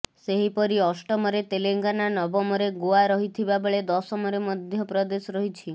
ସେହିପରି ଅଷ୍ଟମରେ ତେଲେଙ୍ଗାନା ନବମରେ ଗୋଆ ରହିଥିବା ବେଳେ ଦଶମରେ ମଧ୍ୟ ପ୍ରଦେଶ ରହିଛି